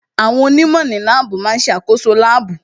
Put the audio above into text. Àwọn onímọ̀ ní láàbù má ń ṣe àkoso láàbù